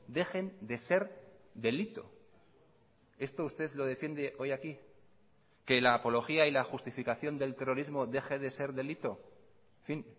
dejen de ser delito esto usted lo defiende hoy aquí que la apología y la justificación del terrorismo deje de ser delito en fin